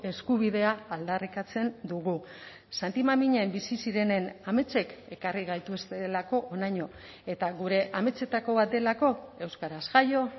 eskubidea aldarrikatzen dugu santimamiñen bizi zirenen ametsek ekarri gaituztelako honaino eta gure ametsetako bat delako euskaraz jaio